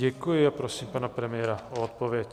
Děkuji a prosím pana premiéra o odpověď.